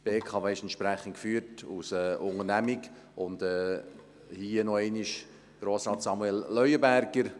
Die BKW ist entsprechend als Unternehmung geführt, und hierzu noch einmal der Hinweis auf das Votum von Grossrat Samuel Leuenberger.